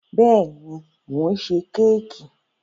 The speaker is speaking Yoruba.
Bẹ́ẹ̀ ni, mò ń ṣe kẹ́kì.